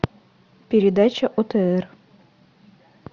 передача отр